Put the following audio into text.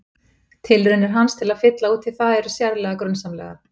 Tilraunir hans til að fylla út í það eru sérlega grunsamlegar.